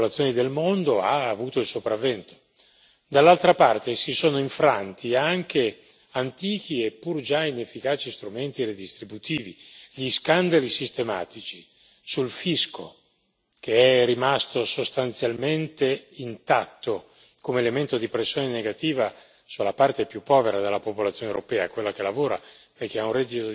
Dall'altra parte si sono infranti anche antichi, eppur già inefficaci, strumenti redistributivi. Gli scandali sistematici sul fisco, che è rimasto sostanzialmente intatto come elemento di pressione negativa sulla parte più povera della popolazione europea, quella che lavora e che ha un reddito dipendente, e ha consentito alle aziende, invece,